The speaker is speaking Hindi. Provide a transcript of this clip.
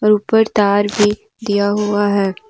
ऊपर तार भी दिया हुआ है।